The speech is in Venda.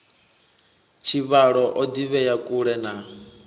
tshivhalo o ḓivhea kule na